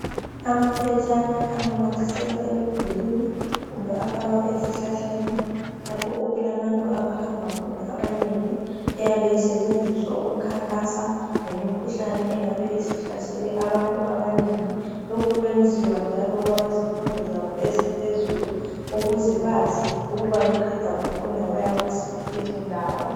Amaphetshana ananyathiselwa emidulwini. Kumbe afakwa ezihlahleni. Lapho okulabantu abahamba khona abanengi. Ayabe esetshenziswa ukhankasa, Ngemikhuhlane engabe isihlasele abantu abanengi. Lokhu kuyenziwa njalo kwabezifundo zabo eziphezulu. Ukuze bazi ukuthi beqeda ukufunda, baya kuziphi izindawo..